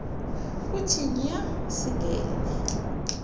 kuthi nya singene